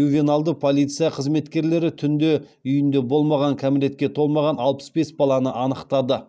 ювеналды полиция қызметкерлері түнде үйінде болмаған кәмелетке толмаған алпыс бес баланы анықтады